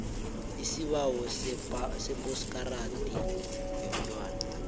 isibawo sephaspoti yomntwana